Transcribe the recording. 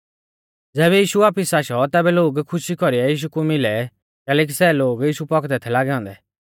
ज़ैबै यीशु वापिस आशौ तैबै लोग खुशी कौरीऐ यीशु कु मिलै कैलैकि सै लोग यीशु पौखदै थै लागै औन्दै